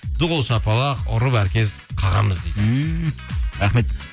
ду қол шапалақ ұрып әркез қағамыз дейді ммм рахмет